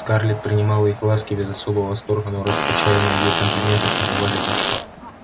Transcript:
скарлетт принимала их ласки без особого восторга но расточаемые ей комплименты согревали душу